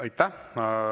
Aitäh!